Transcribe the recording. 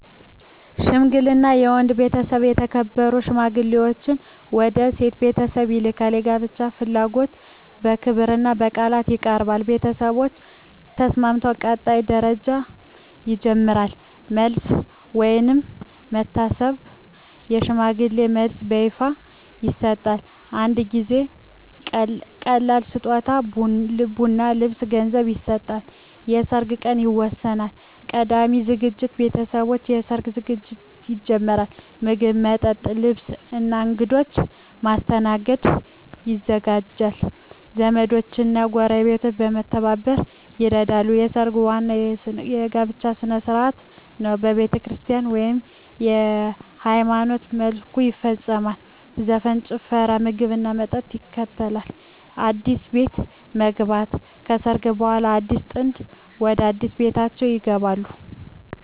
ሽምግልና የወንድ ቤተሰብ የተከበሩ ሽማግሌዎችን ወደ የሴት ቤተሰብ ይልካል። የጋብቻ ፍላጎት በክብርና በቃል ይቀርባል። ቤተሰቦች ከተስማሙ ቀጣይ ደረጃ ይጀምራል። መልስ (ወይም መታሰር) የሽምግልና መልስ በይፋ ይሰጣል። አንዳንድ ጊዜ ቀላል ስጦታ (ቡና፣ ልብስ፣ ገንዘብ) ይሰጣል። የሰርግ ቀን ይወሰናል። ቀዳሚ ዝግጅት ቤተሰቦች ለሰርግ ዝግጅት ይጀምራሉ። ምግብ፣ መጠጥ፣ ልብስ እና እንግዶች ማስተናገድ ይዘጋጃል። ዘመዶች እና ጎረቤቶች በመተባበር ይረዳሉ። ሰርግ ዋናው የጋብቻ ሥነ ሥርዓት ነው። በቤተክርስቲያን (ወይም በሃይማኖታዊ መልኩ) ይፈጸማል። ዘፈን፣ ጭፈራ፣ ምግብና መጠጥ ይከተላል። አዲስ ቤት መግባት (ከሰርግ በኋላ) አዲሱ ጥንድ ወደ አዲስ ቤታቸው ይገባሉ።